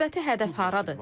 Növbəti hədəf hardadır?